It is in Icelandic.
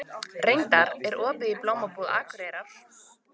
Reynar, er opið í Blómabúð Akureyrar?